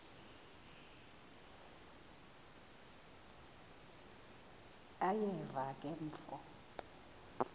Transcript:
uyeva ke mfo